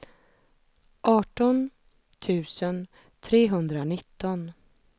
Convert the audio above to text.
arton tusen trehundranitton